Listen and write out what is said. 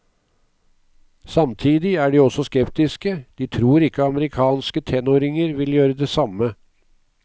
Samtidig er de også skeptiske, de tror ikke amerikanske tenåringer vil gjøre det samme.